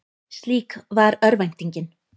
Slík var örvæntingin.